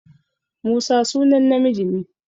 Musa sunan namiji ne.